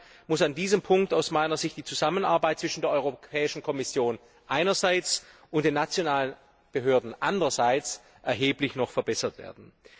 Deshalb muss an diesem Punkt aus meiner Sicht die Zusammenarbeit zwischen der Europäischen Kommission einerseits und den nationalen Behörden andererseits noch erheblich verbessert werden.